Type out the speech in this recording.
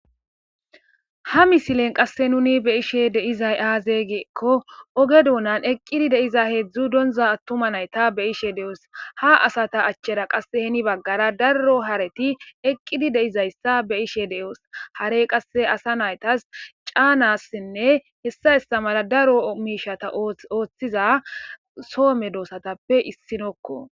Ha misilen qasse nuni be'eshe deizay aazegeekko oge duunan eqqidi deiza heedzdzu donza attuma nayta be ishe de7os ha asata achchera qasse heni baggara daro hareti eqqidi deizayssa be ishe deoos hare qasse asa naytas caanassinne hessa estamala daro miishata ooththiza soome doossatappe issinokko.